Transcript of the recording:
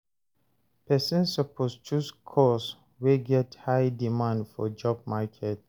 Persin suppose choose course wey get high demand for job market